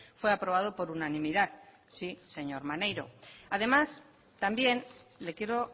fue aprobado por unanimidad sí señor maneiro además también le quiero